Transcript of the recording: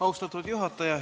Austatud juhataja!